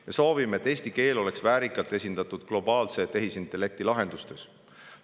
Me soovime, et eesti keel oleks väärikalt esindatud globaalse tehisintellekti lahendustes.